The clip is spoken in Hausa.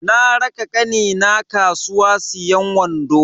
Na raka kanina kasuwa siyan wando.